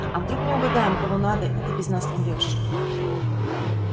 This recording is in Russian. а вдруг не угадаем когда надо и ты без нас помрёшь